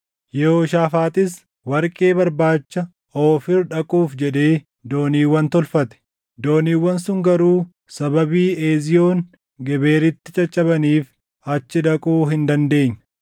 Yehooshaafaaxis warqee barbaacha Oofiir dhaquuf jedhee dooniiwwan tolfate; dooniiwwan sun garuu sababii Eziyoon Geberitti caccabaniif achi dhaquu hin dandeenye.